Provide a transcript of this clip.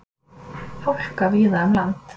Hálka víða um land